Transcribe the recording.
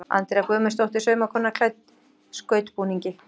Andrea Guðmundsdóttir saumakona klædd skautbúningi.